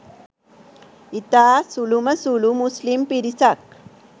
ඉතා සුළුම සුළු මුස්ලිම් පිරිසක්